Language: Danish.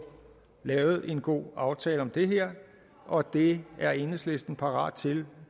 lavet en god aftale om det her og det er enhedslisten parat til